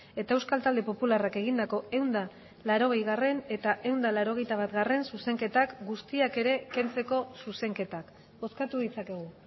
eta euskal talde popularrak egindako ehun eta laurogeigarrena eta ehun eta laurogeita batgarrena zuzenketak guztiak ere kentzeko zuzenketak bozkatu ditzakegu